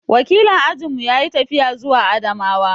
Wakilin ajin mu yayi tafiya zuwa Adamawa.